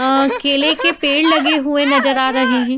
अह केले के पेड़ लगे हुए नज़र आ रहे हैं।